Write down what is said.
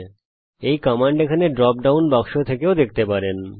আমি এই কমান্ডকে এখানে ড্রপ ডাউন বাক্স থেকেও দেখতে পাবো